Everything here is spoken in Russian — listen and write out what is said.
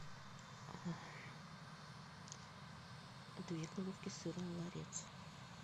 две головки сыра ларец